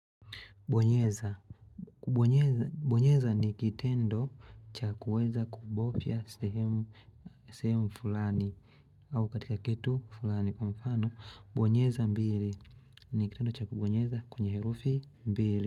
Bonyeza ni kitendo cha kuweza kubofya sehemu sehemu fulani au katika kitu fulani kwa mfano bonyeza mbili ni kitendo cha kubonyeza kwenyeherufi mbili.